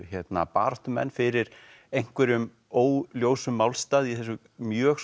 baráttumenn fyrir einhverjum óljósum málstað í þessu mjög